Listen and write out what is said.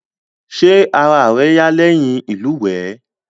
Ṣé ara rẹ yá lẹ́yìn ìlúwèé?